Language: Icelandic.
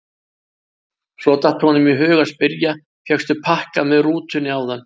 Svo datt honum í hug að spyrja: fékkstu pakka með rútunni áðan?